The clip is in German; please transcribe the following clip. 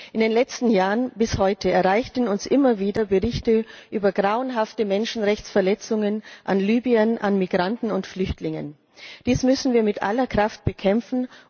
In den letzten Jahren bis heute erreichten uns immer wieder Berichte über grauenhafte Menschenrechtsverletzungen an Libyern, Migranten und Flüchtlingen. Dies müssen wir mit aller Kraft bekämpfen.